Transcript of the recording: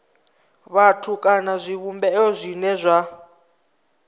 vhathu kana zwivhumbeo zwine zwa